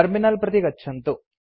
terminal प्रति गच्छन्तु